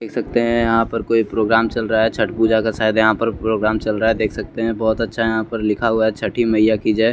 देख सकते है यहाँ पर कोई प्रोग्राम चल रहा है छठी पूजा का शायद यहाँ पर प्रोग्राम चल रहा है देख सकते है बहोत अच्छा यहाँ पर लिखा हुआ है छठी मैया की जय।